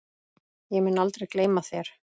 Ég mun aldrei gleyma þér.